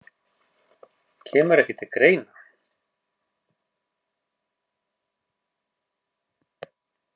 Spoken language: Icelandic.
Kemur ekki til greina